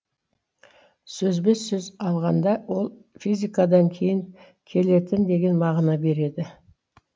сөзбе сөз алғанда ол физикадан кейін келетін деген мағына береді